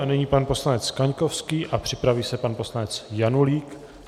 A nyní pan poslanec Kaňkovský a připraví se pan poslanec Janulík.